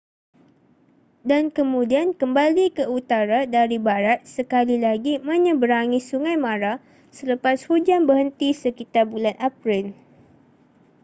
dan kemudian kembali ke utara dari barat sekali lagi menyeberangi sungai mara selepas hujan berhenti sekitar bulan april